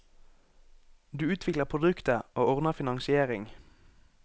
Du utvikler produktet, og ordner finansiering.